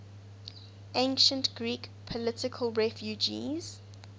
ancient greek political refugees